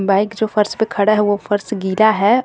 Bike जो फर्श पे खड़ा है वो फर्श गिला है।